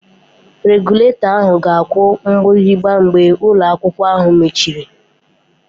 Regụlatọ ahụ ga-aku mgbịrịgba mgbe ụlọ akwụkwọ mechiri